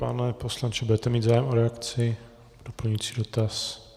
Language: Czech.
Pane poslanče, budete mít zájem o reakci, doplňující dotaz?